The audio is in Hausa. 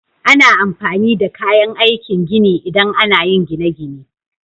Ana amfani da kayan aikin gini idan ana yin gine-gine.